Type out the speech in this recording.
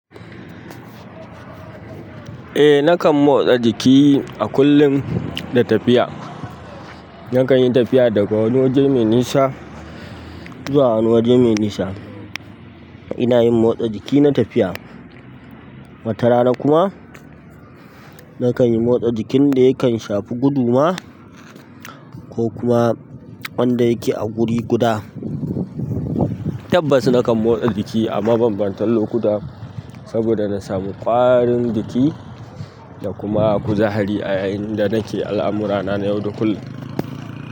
Eh, nakan motsa jiki a kullum da tafiya. Nakan yi tafiya daga wani waje mai nisa zuwa wani waje mai nisa. Ina yin motsa jiki na tafiya. Watarana kuma, nakan yi motsan jikin da yakan shafu gudu ma ko kuma wanda yake a guri guda. Tabbas nakan motsa jiki a mabambantan lokuta saboda na samu ƙwarin jiki da kuma kuzahari a yayin da nake al'amurana na yau da kullum.